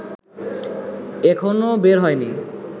এখনো বের হইনি